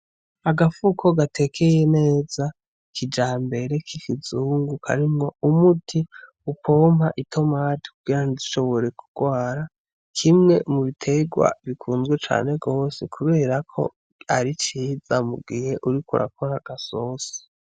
Agafuko gatekeye neza kijambere kikizungu karimwo umuti upompa itomati kugirango ntizishobore kugwara, Kimwe mubiterwa bikunzwe cane gose kubera ko ari ciza mugihe uriko urakora agasosi.